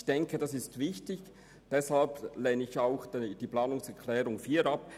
Ich denke, dieser ist wichtig, und deshalb lehne ich auch die Planungserklärung 4 ab.